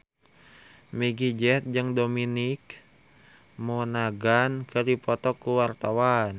Meggie Z jeung Dominic Monaghan keur dipoto ku wartawan